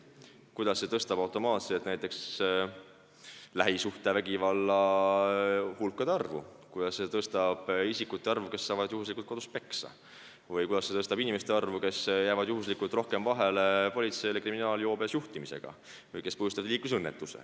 Sa näed, kuidas see suurendab automaatselt näiteks lähisuhtevägivalla juhtumite arvu, kuidas see suurendab nende isikute arvu, kes saavad juhuslikult kodus peksa, või nende inimeste arvu, kes jäävad juhuslikult politseile vahele kriminaalses joobes juhtimisega või kes põhjustavad liiklusõnnetuse.